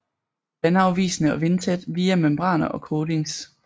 Vandafvisende og vindtæt via membraner og coatings